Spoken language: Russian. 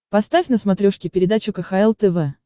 поставь на смотрешке передачу кхл тв